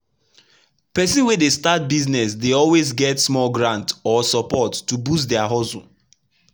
people wey dey start business dey always get small grant or support to boost their hustle